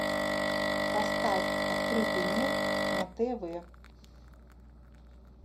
поставь открытый мир на тв